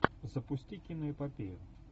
запусти киноэпопею